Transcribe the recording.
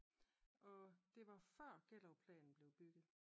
Og det var før Gellerupplanen blev bygget